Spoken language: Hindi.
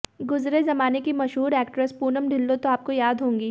गुजरे जमाने की मशहूर एक्ट्रेस पूनम ढिल्लों तो आपको याद होंगी